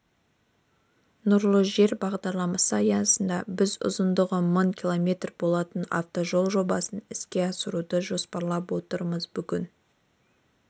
нұрлы жер бағдарламасы аясында біз ұзындығы мың км болатын автожол жобасын іске асыруды жоспарлап отырмыз бүгін